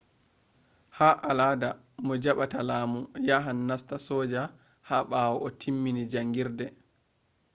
ha alada mo jaɓɓata lamu yahan nasta soja ha ɓawo o timmin jaangirde